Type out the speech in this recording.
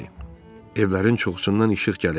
Evlərin çoxusundan işıq gəlirdi.